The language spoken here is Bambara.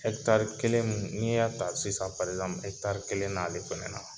kelen mun n'i y'a ta sisan kelen na ale fɛnɛ na.